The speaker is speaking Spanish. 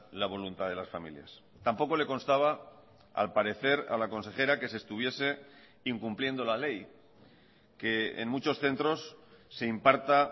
la voluntad de las familias tampoco le constaba al parecer a la consejera que se estuviese incumpliendo la ley que en muchos centros se imparta